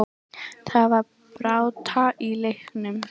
Það var barátta í leiknum.